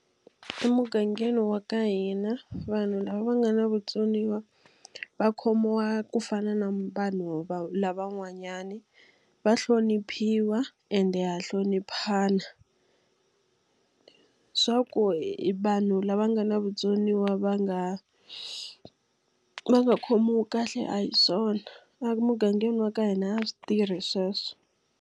Emugangeni wa ka hina vanhu lava va nga na vutsoniwa va khomiwa ku fana na vanhu lavan'wanyana. Va hloniphiwa ende ha hloniphana. Swa ku i vanhu lava nga na vutsoniwa va nga va nga khomiwi kahle a hi swona. Emugangeni wa ka hina a swi tirhi sweswo.